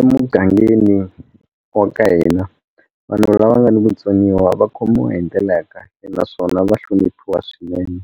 Emugangeni wa ka hina vanhu lava nga ni vutsoniwa va khomiwa hi ndlela ya kahle naswona va hloniphiwa swinene